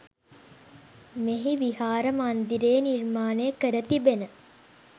මෙහි විහාර මන්දිරයේ නිර්මාණය කර තිබෙන